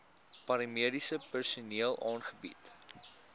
paramediese personeel aangebied